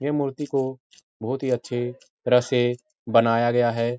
ये मूर्ति को बहुत ही अच्छे तरह से बनाया गया है।